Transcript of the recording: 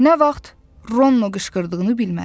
Nə vaxt, Rono qışqırdığını bilmədi.